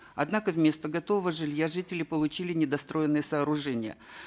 однако вместо готового жилья жители получили недостроенные сооружения